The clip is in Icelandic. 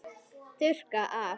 Þurrka af.